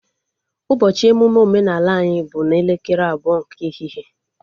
Ụbọchị emụme omenala anyị bụ n'elekere abụọ nke ehihie